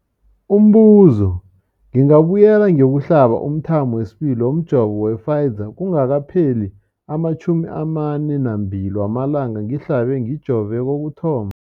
Umbuzo, ngingabuyela ngiyokuhlaba umthamo wesibili womjovo we-Pfizer kungakapheli ama-42 wamalanga ngihlabe, ngijove kokuthoma.